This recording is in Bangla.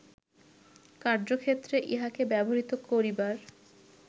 কার্য্যক্ষেত্রে ইহাকে ব্যবহৃত করিবার